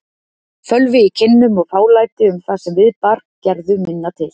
Fölvi í kinnum og fálæti um það sem við bar gerðu minna til.